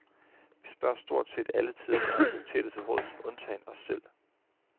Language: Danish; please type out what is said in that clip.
Vi spørger stort set alle tidens autoriteter til råds, undtagen os selv.